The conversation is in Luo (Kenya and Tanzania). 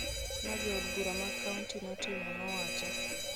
ma Jo od bura mag kaonti notimo,� nowacho.